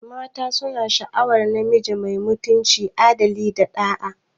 Mata suna sha'awar namiji mai mutunci, adali, da ɗa'a.